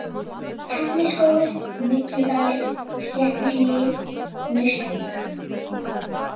Helluskógur, Mygludalir, Sléttuhlíð, Naustvík